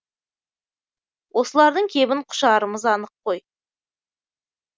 осылардың кебін құшарымыз анық қой